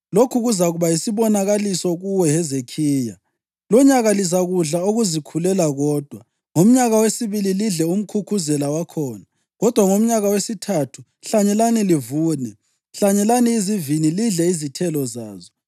Lokhu kuzakuba yisibonakaliso kuwe, Hezekhiya: Lonyaka lizakudla okuzikhulela kodwa, ngomnyaka wesibili lidle umkhukhuzela wakhona. Kodwa ngomnyaka wesithathu hlanyelani livune, hlanyelani izivini lidle izithelo zazo.